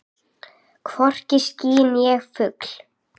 Hvorki ský né fugl.